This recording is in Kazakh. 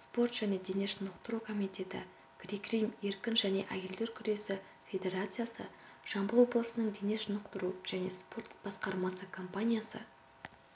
спорт және дене шынықтыру комитеті грек-рим еркін және әйелдер күресі федерациясы жамбыл облысының дене шынықтыру және спорт басқармасы компаниясы